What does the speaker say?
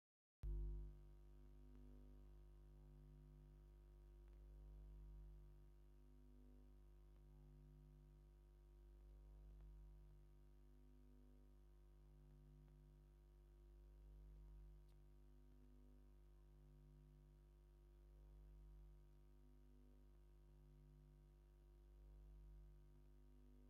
ብጣዕሚ ፍሉይ አተሃናንፃ ዘለዎ ቤተ ክርስትያን ብብጫን ፃዕዳን ሕብሪ ተለሚፁ መካበብያ ከዓ ብቡሉኬት ተነዲቁ ይርከብ፡፡ አብዚ ቤተ ክርስትያን ውሽጢ ዝተፈላለዩ ሓምለዎት ተክሊታት አለው፡፡ እዚ ቤተ ክርስትያን ንምጉብናይ ሰለስተ ፀዓዱ ዝመፁ ናብቲ በሪ እናከዱ ይርከቡ፡፡